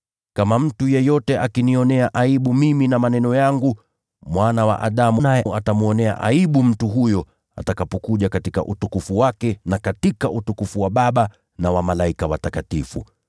Mtu yeyote akinionea aibu mimi na maneno yangu, Mwana wa Adamu naye atamwonea aibu atakapokuja katika utukufu wake na katika utukufu wa Baba, pamoja na malaika watakatifu.